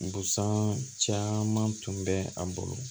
Busan caman tun bɛ a bolo